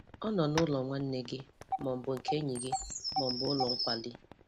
Ọ nọ n'ụlọ nwanne gị, ma ọ bụ nke enyi gị, ma ọ bụ ụlọ nkwari.